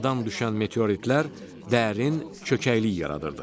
Səmadan düşən meteoritlər dərin çökəklik yaradırdı.